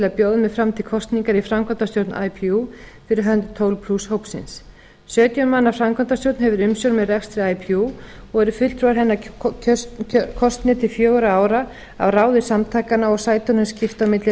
að bjóða mig fram til kosningar í framkvæmdastjórn ipu fyrir hönd tólf hópsins sautján manna framkvæmdastjórn hefur umsjón með rekstri ipu og eru fulltrúar hennar kosnir til fjögurra ára á ráði samtakanna og sætunum skipt á milli